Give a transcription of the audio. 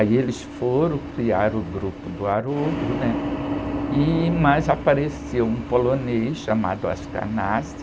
Aí eles foram criar o grupo do Haroldo, né? E, mas apareceu um polonês chamado,